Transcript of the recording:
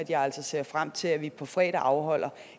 jeg ser frem til at vi på fredag afholder